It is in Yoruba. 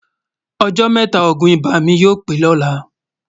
ọ̀jọ́ métà ògún ibà mí yọ̀ pé lọ̀lá